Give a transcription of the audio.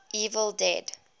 evil dead